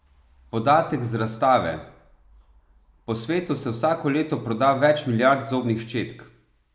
Podatek z razstave: "Po svetu se vsako leto proda več milijard zobnih ščetk.